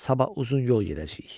Sabah uzun yol gedəcəyik.